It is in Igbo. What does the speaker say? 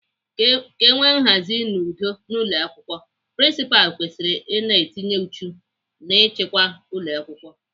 Ka enwe nhazi na udo n'ụlọakwụkwọ, prinsipalụ kwesịrị ina etinye uchu n'ịchịkwa ụlọakwụkwọ.